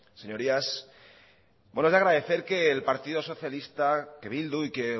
señorías bueno es de agradecer que el partido socialista que bildu y que